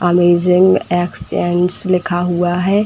Amazing exchanges लिखा हुआ है।